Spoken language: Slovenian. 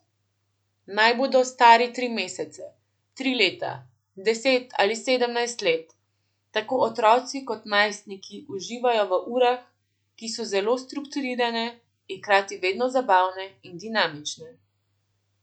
Naj bodo stari tri mesece, tri leta, deset ali sedemnajst let, tako otroci kot najstniki uživajo v urah, ki so zelo strukturirane, in hkrati vedno zabavne in dinamične.